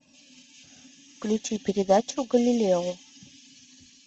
включи передачу галилео